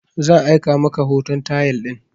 Zan aika maka hoton tayal din